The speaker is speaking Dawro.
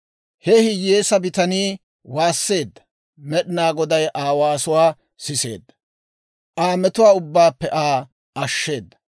Ha hiyyeesaa bitanii waasseedda; Med'inaa Goday Aa waasuwaa siseedda; Aa metuwaa ubbaappe Aa ashsheedda.